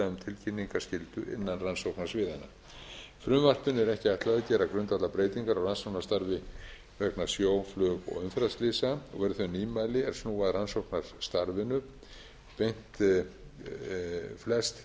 tilkynningarskyldu innan rannsóknarsviðanna frumvarpinu er ekki ætlað að gera grundvallarbreytingar á rannsóknarstarfi vegna sjó flug og umferðarslysa og eru þau nýmæli er án að rannsóknarstarfinu beint flest